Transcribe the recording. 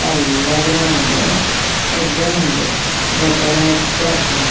ಮಲ್ಲ ಗ್ರೌಂಡು ಎಡ್ಡೆ ಉಂಡು ಗೊಬ್ಬೆರೆ ಎಡ್ಡೆ ಆಪುಂಡು.